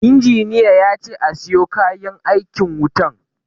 Injiniya yace a siyo kayan aikin wutan